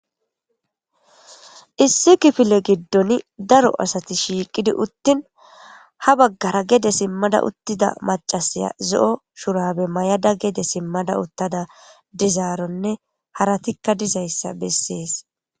issi kifile giddon daro asati shiiqidi uttin ha baggara gede simmada uttida macasiya zo7o shurabe may7ada gede simmada uttada dizaaronne haratikka dizayssa bessees.